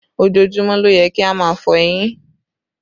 Ojoojúmọ́ ló yẹ kí a máa fọ eyín